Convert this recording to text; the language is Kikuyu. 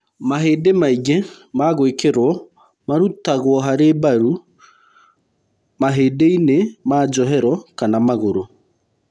Mahĩndĩ maingĩ ma gwĩkĩro marutagwo harĩ mbaru, mahĩndĩ-inĩ ma njohero kana magũrũ.